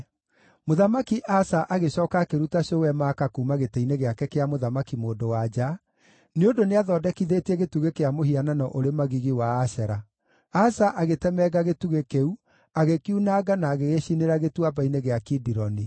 Mũthamaki Asa agĩcooka akĩruta cũwe Maaka kuuma gĩtĩ-inĩ gĩake kĩa mũthamaki-mũndũ-wa-nja, nĩ ũndũ nĩathondekithĩtie gĩtugĩ kĩa mũhianano ũrĩ magigi wa Ashera. Asa agĩtemenga gĩtugĩ kĩu, agĩkiunanga na agĩgĩcinĩra Gĩtuamba-inĩ gĩa Kidironi.